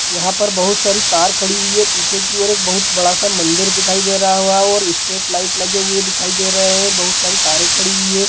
यहाँ पर बहुत सारी कार खड़ी हुई है| पीछे की और एक बहुत बड़ा सा मंदिर दिखाई दे रहा हुआ है और स्ट्रीट लाइट लगे हुए दिखाई दे रहे है बहुत सारी कारे खड़ी हुई है।